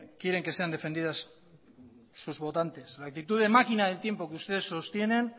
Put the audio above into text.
quieren que sean defendidas sus votantes la actitud de máquina del tiempo que ustedes sostienen